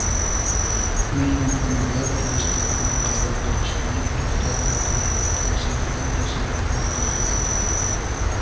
Mehmonxonalar turistlarni qabul qilishni to‘xtatadi, konsertlar esa bekor qilinadi.